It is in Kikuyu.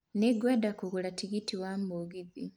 Nĩ ngwenda kũgũra tigiti wa mũgithi